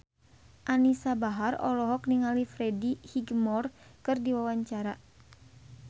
Anisa Bahar olohok ningali Freddie Highmore keur diwawancara